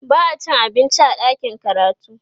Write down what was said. ba'a cin abinci a ɗakin karatu